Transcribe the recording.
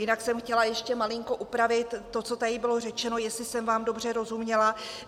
Jinak jsem chtěla ještě malinko upravit to, co tady bylo řečeno, jestli jsem vám dobře rozuměla.